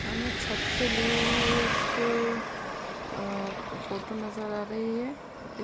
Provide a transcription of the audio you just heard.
अब में छत से ली हुई एक अ फ़ोटो नज़र आ रही है। इस --